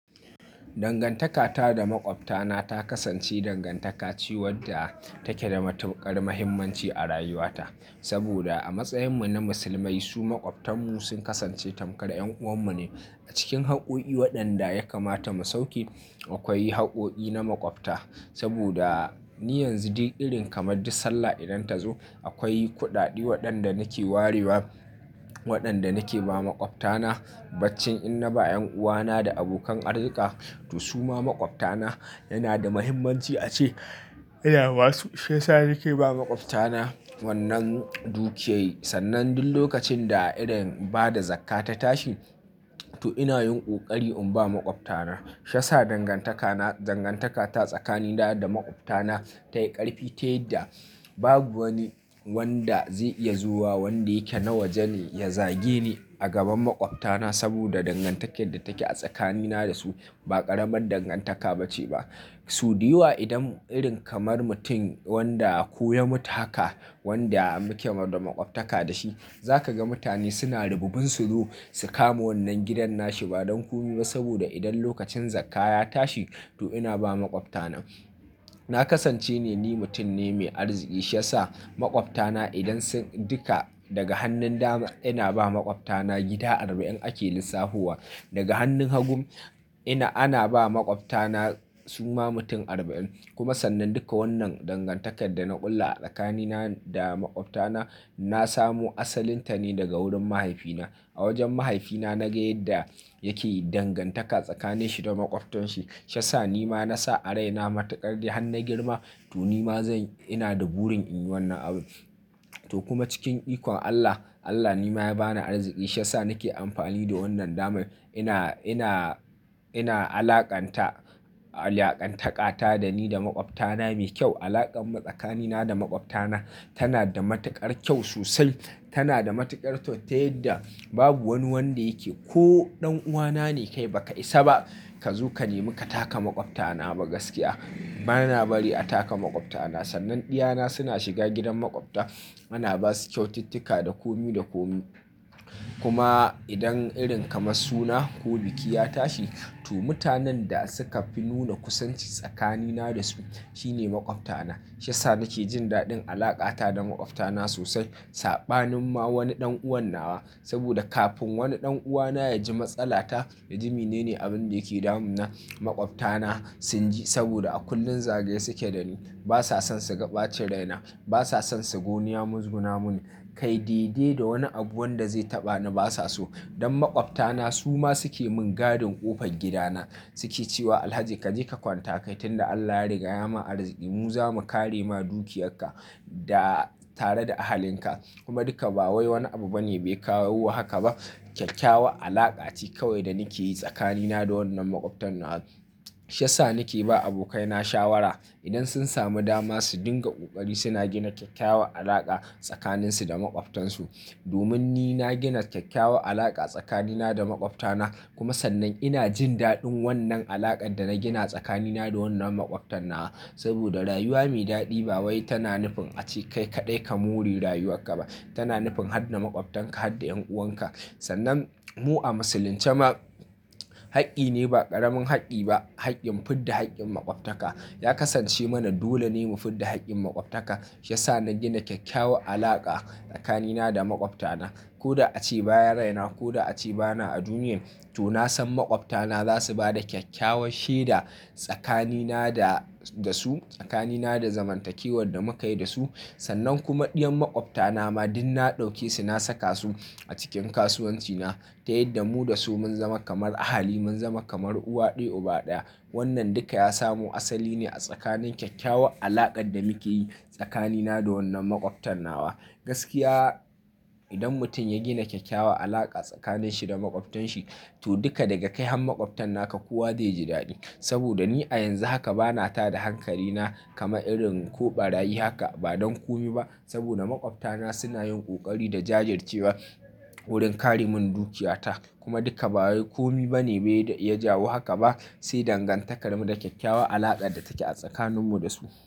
Dangantaka ta da maƙwabta na ta kasance dangantaka ce wadda take da matuƙar muhimmanci a rayuwa ta. Saboda a matsayin mu na musulmai, su maƙwabtan mu sun kasance tamkar 'yan'uwan mu ne. A cikin hakkoki waɗanda ya kamata mu sauki, akwai hakkoki na maƙwabta. Saboda ni yanzu duk irin kamar du sallah idan ta zo akwai kuɗaɗe waɗanda nake warewa, waɗanda nake ba maƙwabta na. Baccin ina ba 'yan'uwa na da abokan arzika, to su ma maƙwabta na. Yana da muhimmanci ace idan basu, shiyasa nake ba maƙwabta na wannan dukiyoyi, sannan duk lokacin da irin bada zakkah ta tashi to ina yin ƙoƙari in ba maƙwabta na. Shiyasa dangantaka ta tsakanina da maƙwabta na ta yi ƙarfi, ta yadda babu wanda zai iya zuwa wanda yake na waje ne ya zage ni a gaban maƙwabta na. Saboda dangantakar da take a tsakanina da su ba ƙaramin dangantaka bace ba. Su dai wa idan irin kamar mutum wanda koya mata haka wanda muke maɗa maƙwabtaka da shi, za ka ga mutane suna da rububben su zo su kama wannan gidan nashi ba don komi ba. Saboda idan lokacin zakkah ya tashi to ina ba maƙwabta na. Na kasance ne ni mutum ne mai arziki shiyasa maƙwabta na idan sun duka daga hannun dama ina ba maƙwabta na gida arba'in ake lissafo wa. Daga hannun hagu ina ana ba maƙwabta na suma mutum arba'in. Kuma sannan duka wannan dangantakar da na kulla a tsakanina da makwabtana, na samu asalinta ne daga wurin mahaifina. A wajen mahaifina na ge yadda yake yi dangantaka tsakanin shi da makwabtan shi. Shiyasa ni ma na sa a raina matuƙar di hannun girma to ni ma zan-- ina da burin in yi wannan abu. To kuma cikin ikon Allah, Allah ni ma ya bani arziki shiyasa nake amfani da wannan dama. Ina, ina, ina alaƙanta, alaƙantaka ta da ni da makwabtana mai kyau. Alaƙar tsakanina da makwabtana tana da matuƙar kyau sosai. Tana da matuƙar to ta yadda babu wani wanda yake ko ɗan'uwa na ne kai ba ka isa ba ka zo ka nemi ka taka maƙwabta na ba gaskiya. Ba na bari a taka maƙwabta na. Sannan ɗiyana suna shiga gidan makwabta, ana ba su kyaututtuka da komi da komi. Kuma idan irin kamar suna ko biki ya tashi to mutanen da suka fi nuna kusanci tsakanina da su shine makwabtana. Shiyasa nake jin daɗin alaƙa ta da makwabtana sosai. Saɓanin ma wani ɗan'uwa na. Saboda kafin wani ɗan'uwa na ya ji matsala ta, naji mene ne abin da yake damun na makwabtana sun ji. Saboda a kullum zagaye suke da ni. Ba sa son su ga ɓacin raina. Ba sa son su goya muguna mun. Kai dai dai da wani abu wanda zai taɓa ni ba sa so. Dan makwabtana su ma suke mun gadin ƙofar gida na. Suke cewa Alhaji kaje ka kwanta, kai tun da Allah ya riga ya ma arziki mu zamu kare ma dukiyarka da tare da ahalin ka. Kuma duka ba wai wani abu bane bai kawo haka ba. Kyakkyawa alaƙa ce kawai da nake yi tsakanina da wannan makwabtana. Shiyasa nake ba abokai na shawara. Idan sun samu dama su dinga ƙoƙari suna gina kyakkyawan alaƙa tsakanin su da makwabtansu. Domin ni na gina kyakkyawan alaƙa tsakanina da makwabtana. Kuma sannan ina jin daɗin wannan alaƙar da na gina tsakanina da wannan makwabtana. Saboda rayuwa mai daɗi ba wai tana nufin ace kai kaɗai ka mori rayuwar ka ba. Tana nufin hadda makwabtanka, hadda 'yan'uwan ka. Sannan mu a musulunce ma haƙƙi ne ba ƙaramin haƙƙi ba haƙƙin mufidda haƙƙin makwabtaka. Ya kasance mana dole ne mu fidda haƙƙin makwabtaka. Shiyasa na gina kyakkyawan alaƙa tsakanina da makwabtana. Ko da ace baya raina ko da ace bana a duniyar, to na san makwabtana za su bada kyakkyawar shaida tsakanina da su, tsakanina da zamantakewar da muka yi da su. Sannan kuma diyan makwabtana ma duk na ɗauke su na saka su a cikin kasuwanci na. Ta yadda mu da su mun zama kamar ahali, mun zama kamar uwa ɗaya uba ɗaya. Wannan duka ya samu asali ne a tsakanin kyakkyawan alaƙar da muke yi tsakanina da wannan makwabtana. Gaskiya idan mutum ya gina kyakkyawa alaƙa tsakanin shi da makwabtanshi to duka daga kai han makwabtanka kuwa zai ji daɗi. Saboda ni a yanzu haka bana tada hankali na kama irin ko ɓaryi haka ba don komi ba. Saboda makwabtana suna yin ƙoƙari da jajircewa wurin ƙare mun dukiyata. Kuma duka ba wai komi bane bai ya jawo haka ba, sai dangantakarmu da kyakkyawa alaƙar da take a tsakanin mu da su.